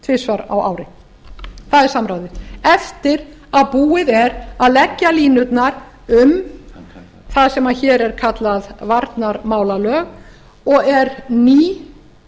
tvisvar á ári það er samráðið eftir að búið er að leggja línurnar um það sem hér er kallað varnarmálalög og er ný